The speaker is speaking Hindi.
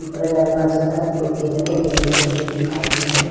अ दारवाजे पर पतेलाके पेड़ लगे हुये दीखाई दे रहे है।